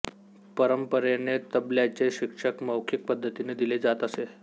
परंपरेने तबल्याचे शिक्षण मौखिक पद्धतीने दिले जात असे